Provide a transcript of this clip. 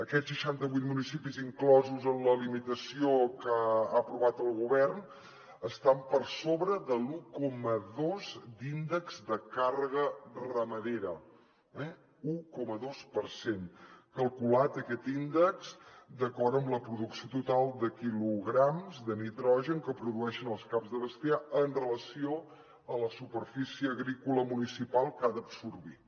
aquests seixantavuit municipis inclosos en la limitació que ha aprovat el govern estan per sobre de l’un coma dos d’índex de càrrega ramadera un coma dos per cent calculat aquest índex d’acord amb la producció total de quilograms de nitrogen que produeixen els caps de bestiar amb relació a la superfície agrícola municipal que ha d’absorbir